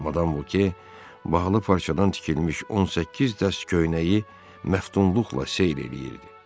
Madam Voke bahalı parçadan tikilmiş 18 dəst köynəyi məftunluqla seyr eləyirdi.